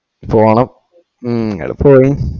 പോണം ഇങ്ങള്‌പോയീം